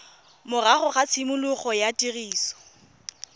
morago ga tshimologo ya tiriso